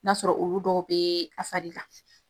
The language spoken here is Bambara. N'a sɔrɔ olu dɔw bɛ a fari la.